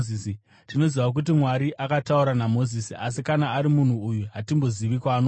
Tinoziva kuti Mwari akataura naMozisi, asi kana ari munhu uyu, hatimbozivi kwaanobva.”